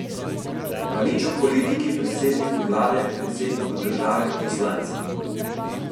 Pa nič o politiki, predsedniku vlade, predsedniku države, poslancih.